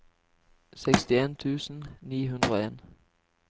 sekstien tusen ni hundre og en